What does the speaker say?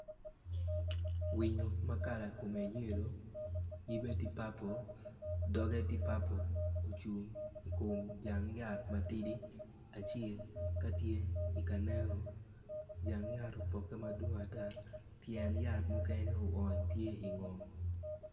Winyo ma kala kome yelu yibe tye papul yibe tye papul i kom jang yat matidi acel ka tye ka neno jang yatte tye ma dwong ata